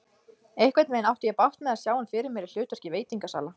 Einhvernveginn átti ég bágt með að sjá hann fyrir mér í hlutverki veitingasala.